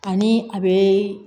Ani a bɛ